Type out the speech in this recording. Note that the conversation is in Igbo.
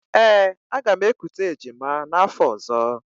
Ee, aga m ekute ejima n'afọ ọ̀zọ́.